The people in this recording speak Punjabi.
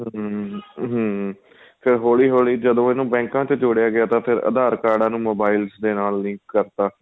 ਹਮ ਹਮ ਫ਼ੇਰ ਹੋਲੀਂ ਹੋਲੀਂ ਜਦੋਂ ਇਹਨੂੰ ਬੈੰਕਾਂ ਵਿੱਚ ਜੋੜਿਆਂ ਗਿਆ ਤਾਂ ਫ਼ੇਰ aadhar ਕਾਰਡਾਂ ਨੂੰ mobiles ਦੇ ਨਾਲ link ਕਰ ਤਾਂ